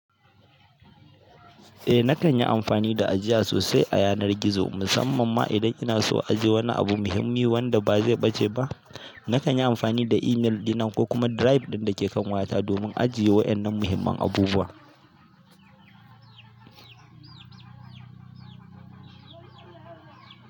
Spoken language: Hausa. Eh, na kan yi amfani da ajiya sosai a yanar gizo, musamman ma idan ina so ajiye wani abu muhimmi wanda ba zai ɓace ba. Na kan yi amfani da email ɗina ko kuma drive ɗin da ke kan wayata domin ajiye waɗannan muhimman abubuwa.